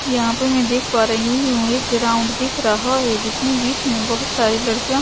यहाँ पे मैं देख पा रही हूं एक ग्राउंड दिख रहा है जिसमें बीच में बहुत सारी लड़कियां--